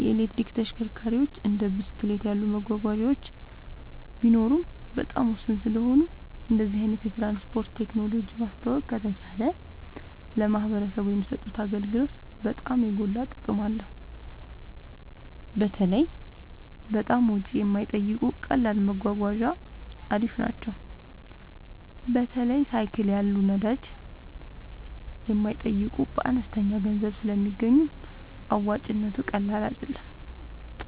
የኤሌክትሪክ ተሽከርካሪዎች እንደ ብስክሌት ያሉ መጓጓዣዎች ቢኖሩም በጣም ውስን ስለሆኑ እንደዚህ አይነት የትራንስፖርት ቴክኖሎጂ ማስተዋወቅ ከተቻለ ለማህበረሰቡ የሚሰጡት አገልግሎት በጣም የጎላ ጥቅም አለው። በተለይ በጣም ወጪ የማይጠይቁ ቀላል መጓጓዣ አሪፍ ናቸው። በተለይ ሳይክል ያሉ ነዳጅ የማይጠይቁ በአነስተኛ ገንዘብ ስለሚገኙ አዋጭነቱ ቀላል አይደለም